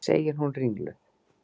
segir hún ringluð.